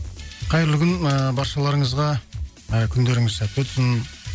қайырлы күн ыыы баршаларыңызға ы күндеріңіз сәтті өтсін